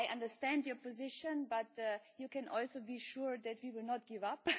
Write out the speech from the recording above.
I understand your position, but you can also be sure that we will not give up.